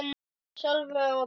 Sölvi og brosti.